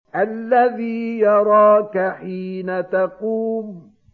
الَّذِي يَرَاكَ حِينَ تَقُومُ